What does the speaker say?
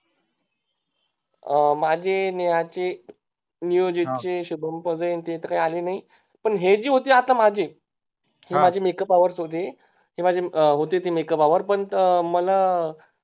अं माझे नेहाचे नियोजीत चे शुभम वैगेरे तर काही नाही पण हे जे होते मागे माझे makeup hours होते माझे होते ते Makeup hours पण मला